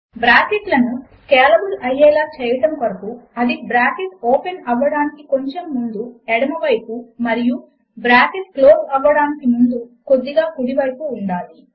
bracket లను scalable అయ్యేలా చేయడము కొరకు అది బ్రాకెట్ ఓపెన్ అవ్వడానికి కొంచెం ముందు ఎడమ వైపు మరియు బ్రాకెట్ క్లోజ్ అవ్వడమునకు ముందుగా కుడి వైపు ఉండాలి